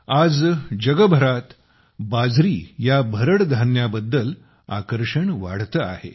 आज जगभरात बाजरी या भरड धान्याबद्दल आकर्षण वाढते आहे